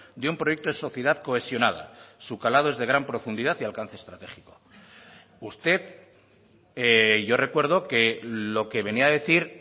de un proyecto de sociedad cohesionada su calado es de gran profundidad y alcance estratégico usted yo recuerdo que lo que venía a decir